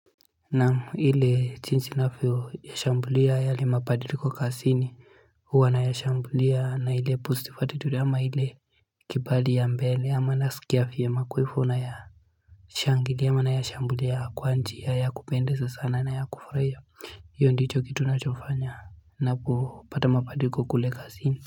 Na ile jinsi ninavyoshambulia yale mabadiliko kazini huwa naya shambulia na ile positive attitude ama ile kibali ya mbele ama nasikia vyema kwa ivo naya shangilia ama naya shambulia kwa njia ya kupendeza sana na ya kufurahia hiyo ndicho kitu nachofanya napopata mabadiliko kule kazini.